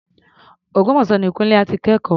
Ògbómọ̀ṣọ́ ni Kúńlé á ti kẹ́kọ̀ọ́.